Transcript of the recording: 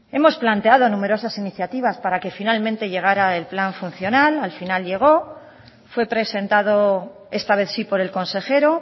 hemos planteado numerosas iniciativas para que finalmente llegará el plan funcional al final llegó fue presentado esta vez sí por el consejero